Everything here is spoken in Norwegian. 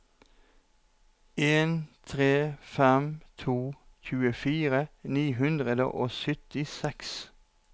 en tre fem to tjuefire ni hundre og syttiseks